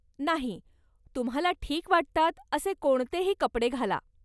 नाही, तुम्हाला ठीक वाटतात असे कोणतेही कपडे घाला!